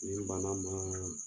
Ni banna ma